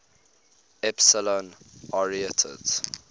epsilon arietids